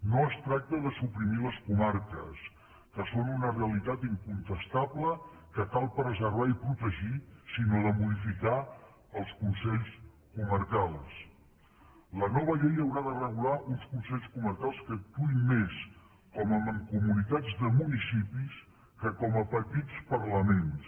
no es tracta de suprimir les comarques que són una realitat incontestable que cal preservar i protegir sinó de modificar els consells comarcals la nova llei haurà de regular uns consells comarcals que actuïn més com a mancomunitats de municipis que com a petits parlaments